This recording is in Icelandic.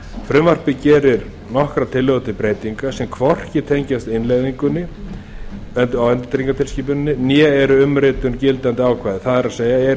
frumvarpið gerir nokkrar tillögur til breytinga sem hvorki tengjast innleiðingu endurtryggingatilskipunarinnar né eru umritun gildandi ákvæða það er eru